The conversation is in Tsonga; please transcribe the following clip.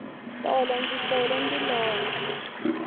tolo ndzi tlele ndi lorha